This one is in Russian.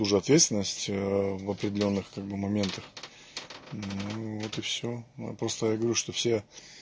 уже ответственность в определённых как бы моментах ну вот и всё просто я говорю что все